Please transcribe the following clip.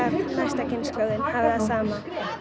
næsta kynslóð hafi það sama